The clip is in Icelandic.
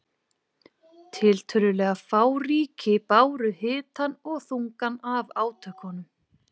Tiltölulega fá ríki báru hitann og þungann af átökunum.